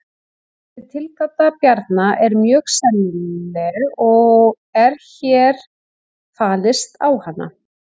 Þessi tilgáta Bjarna er mjög sennileg og er hér fallist á hana.